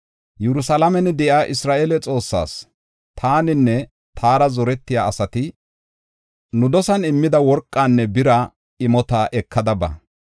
Yerusalaamen de7iya Isra7eele Xoossaas, taaninne taara zorettiya asati nu dosan immida worqanne bira imota ekada ba.